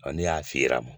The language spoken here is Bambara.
Ɔ ni y'a fiyɛra